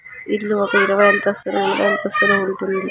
ఇది ఒక ఇరవై అంతస్తులు ముప్పయి అంతస్థలు ఉంటుంది ]